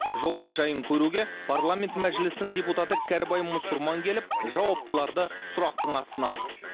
жолдың жайын көруге парламент мәжілісінің депутаты кәрібай мұсырман келіп жауаптыларды сұрақтың астына алды